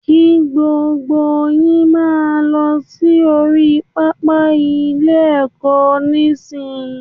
Kí gbogbo yín máa lọ sí orí pápá ilé-ẹ̀kọ́ nísìnyí